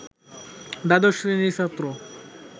দ্বাদশ শ্রেণির ছাত্র